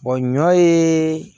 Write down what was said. ɲɔ yeee